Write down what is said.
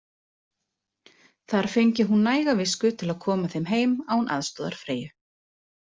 Þar fengi hún næga visku til að koma þeim heim án aðstoðar Freyju.